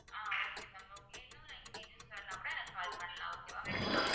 ஆஹ் okay ma'am okay இன்னும் details வேணும்னா கூட எனக்கு call பண்ணலாம் okay வா ma'am